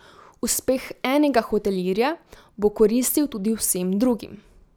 Uspeh enega hotelirja bo koristil tudi vsem drugim.